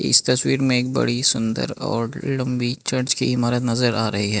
इस तस्वीर में एक बड़ी सुंदर और लंबी चर्च की इमारत नजर आ रही है।